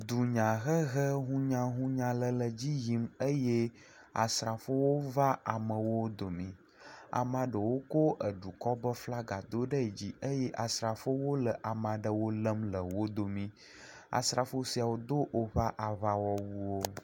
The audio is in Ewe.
Dunyahehe hunyahunya aɖe le edzi yim eye asrafowo va amewo dome. Amea ɖewo ko edukɔ ƒe flaga do ɖe di eye asrafowo le wo lém le wo domi. Asrafo siawo do woƒe aŋawɔwuwo.